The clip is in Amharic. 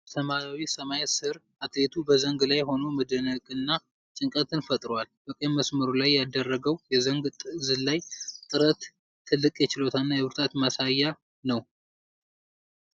በሰማያዊ ሰማይ ስር አትሌቱ በዘንግ ላይ ሆኖ መደነቅንና ጭንቀትን ፈጥሯል። በቀይ መስመሩ ላይ ያደረገው የዘንግ ዝላይ ጥረት ትልቅ የችሎታና የብርታት ማሳያ ነው።